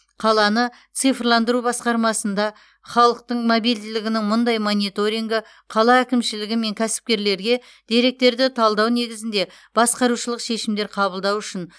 қаланы цифрландыру басқармасында халықтың мобильділігінің мұндай мониторингі қала әкімшілігі мен кәсіпкерлерге деректерді талдау негізінде басқарушылық шешімдер қабылдау үшін